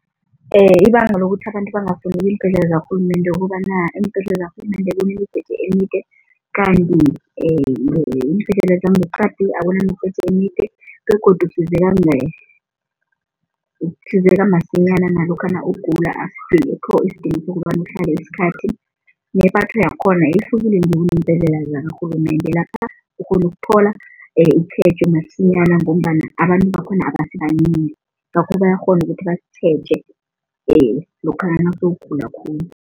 Ibanga lokuthi abantu bangafuni iimbhedlela zakarhulumende ukobana, iimbhedlela zakarhulumende kunemijeje emide kanti iimbhedlela zangeqadi akunamijeje emide begodu usizeka usizeka masinyana nalokha nawugula asikho isidingo sokobana uhlale isikhathi. Nepatho yakhona ihlukile nje kuneembhedlela zikarhulumende. Lapha ukghona ukuthola itjhejo masinyana ngombana abantu bakhona abasibanengi ngakho bayakghona ukuthi bakutjheje lokhana nawusewugula khulu.